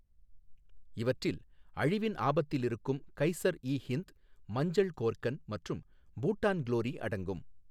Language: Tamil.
இவற்றில் அழிவின் ஆபத்தில் இருக்கும் கைசர் இ ஹிந்த், மஞ்சள் கோர்கன் மற்றும் பூட்டான் க்லோரி அடங்கும்.